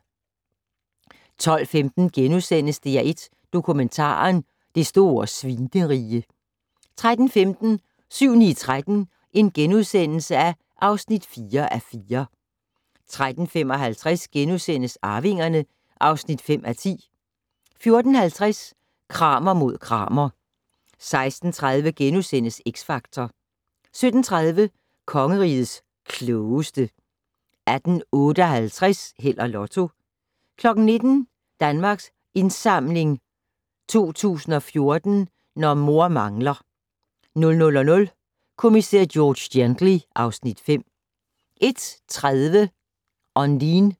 12:15: DR1 Dokumentaren: Det store Svinerige * 13:15: 7-9-13 (4:4)* 13:55: Arvingerne (5:10)* 14:50: Kramer mod Kramer 16:30: X Factor * 17:30: Kongerigets Klogeste 18:58: Held og Lotto 19:00: Danmarks Indsamling 2014 - Når mor mangler 00:00: Kommissær George Gently (Afs. 5) 01:30: Ondine